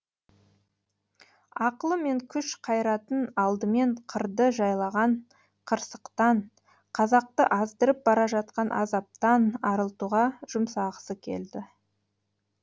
ақылы мен күш қайратын алдымен қырды жайлаған қырсықтан қазақты аздырып бара жатқан азаптан арылтуға жұмсағысы келді